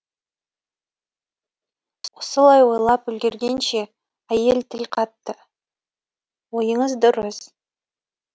осылай ойлап үлгергенше әйел тіл қатты ойыңыз дұрыс